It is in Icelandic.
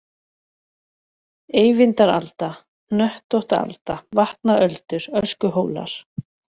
Eyvindaralda, Hnöttóttaalda, Vatnaöldur, Öskuhólar